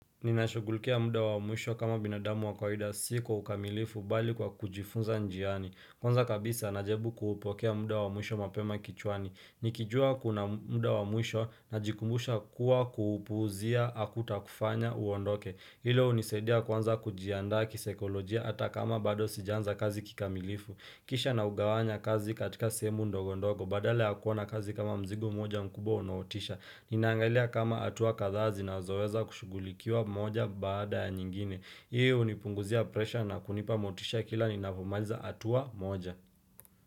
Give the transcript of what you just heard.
Ninashugulikia muda wa mwisho kama binadamu wakawida si kwaukamilifu bali kwa kujifunza njiani Kwanza kabisa najaribu kuupokea muda wa mwisho mapema kichwani Nikijua kuna muda wa mwisho na jikumbusha kuwa kuupuzia hakuta kufanya uondoke Hilo hunisadia kuanza kujiandaa kisaikolojia hata kama bado sijaanza kazi kikamilifu Kisha na ugawanya kazi katika sehemu ndogo ndogo badala yakuona kazi kama mzigo mmoja mkubwa unaotisha Ninaangalia kama hatua kadha zinazoweza kushugulikiwa moja baada ya nyingine Hii hunipunguzia pressure na kunipa motisha kila ninapomaliza hatua moja.